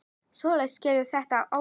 Sólveig: Skilur þú þennan ótta?